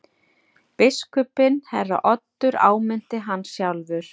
Biskupinn herra Oddur áminnti hann sjálfur.